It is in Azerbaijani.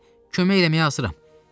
Əksinə, kömək eləməyə hazıram.